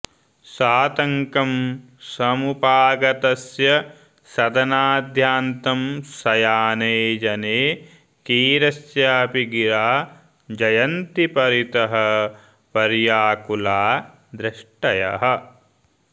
सातङ्कं समुपागतस्य सदनाद्यान्तं शयाने जने कीरस्यापि गिरा जयन्ति परितः पर्याकुला दृष्टयः